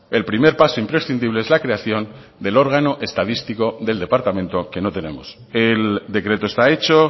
el primer paso imprescindible es la creación del órgano estadístico del departamento que no tenemos el decreto está hecho